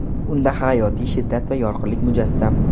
Unda hayotiy shiddat va yorqinlik mujassam.